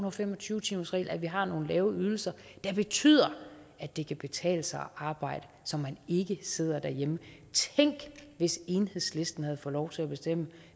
og fem og tyve timersregel og at vi har nogle lave ydelser betyder at det kan betale sig arbejde så man ikke sidder derhjemme tænk hvis enhedslisten havde lov til at bestemme